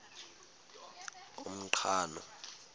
umqhano